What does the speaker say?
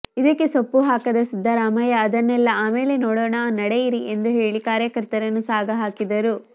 ಇದಕ್ಕೆ ಸೊಪ್ಪು ಹಾಕದ ಸಿದ್ದರಾಮಯ್ಯ ಅದನ್ನೆಲ್ಲ ಆಮೇಲೆ ನೋಡೋಣ ನಡೆಯಿರಿ ಎಂದು ಹೇಳಿ ಕಾರ್ಯಕರ್ತರನ್ನು ಸಾಗಹಾಕಿದರು